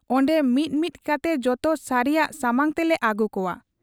ᱚᱱᱰᱮ ᱢᱤᱫ ᱢᱤᱫ ᱠᱟᱛᱮ ᱡᱚᱛᱚ ᱥᱟᱹᱨᱤᱭᱟᱜ ᱥᱟᱢᱟᱝ ᱛᱮᱞᱮ ᱟᱹᱜᱩ ᱠᱚᱣᱟ ᱾